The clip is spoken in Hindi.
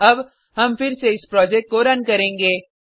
अब हम फिर से इस प्रोजेक्ट को रन करेंगे